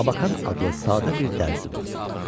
Labakan adlı sadə bir dərzi vardı.